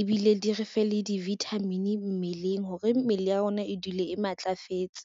ebile di re fe le di-vitamin mmeleng hore mmele ya rona e dule e matlafetse.